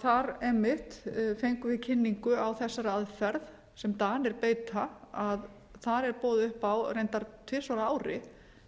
þar einmitt fengum við kynningu á þessari aðferð sem danir beita að þar er boðið upp á reyndar tvisvar á ári